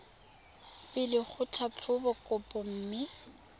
pele go tlhatlhoba kopo mme